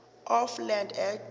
of land act